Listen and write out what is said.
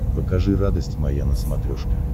покажи радость моя на смотрешке